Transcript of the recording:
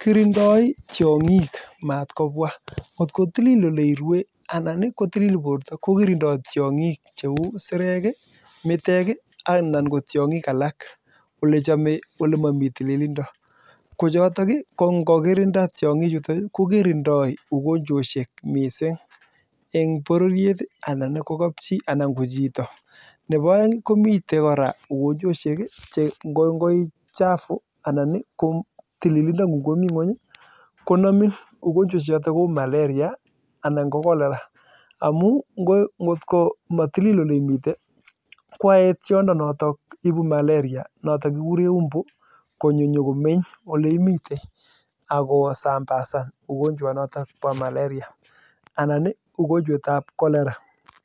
kirindo tiongik matkobwa kotko tilil ele irue anani kotilil borto ko kirindo tiongik cheu isirekii miteki alan kotiongi alak che chome ale momi tililindo kochoton kii kongokirinda tiongi chuton ii kokirindo ugonjwoshek missing en bororiet ii anan kokapchi anan ko chito nepomoeng ii komiten kora ugonjwoshek che ngo chafu anan ngo tililindo ngung komi ngweny konomin ugonjweshchete kou maleria anan ko kolera amun ngotko komatilil ele imiten i koyoe tiondo notok ibu malerianotok kikuren mbu konyo komeny oleimiten akosambasan ugonjwetab maleria anani ugonjwetab kolera